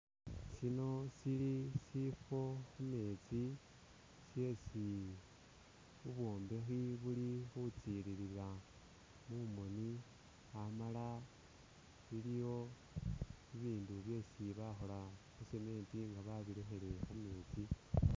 shino shili shifo khumetsi shesi bubwombekhi buli khutsilila mumoni hamala iliwo bibindu byesi bakhola mu cement nga babilekhele khumeetsi